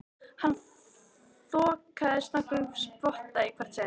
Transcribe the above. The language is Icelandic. Hann þokaðist nokkurn spotta í hvert sinn.